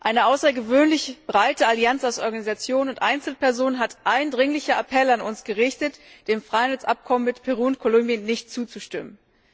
Eine außergewöhnlich breite Allianz aus Organisationen und Einzelpersonen hat eindringliche Appelle an uns gerichtet, dem Freihandelsabkommen mit Peru und Kolumbien nicht zuzustimmen.